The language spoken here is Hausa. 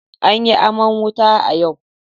An yi aman wuta a yau.